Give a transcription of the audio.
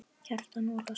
Kjartan Ólason